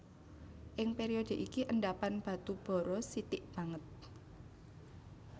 Ing période iki endhapan batu bara sithik banget